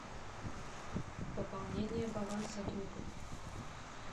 пополнение баланса друга